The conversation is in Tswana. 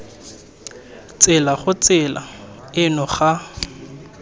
tsela gore tsela eno ga